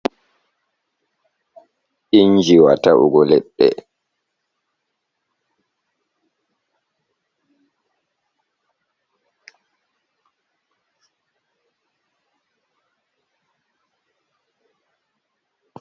Inji wa ta’ugo leɗɗe.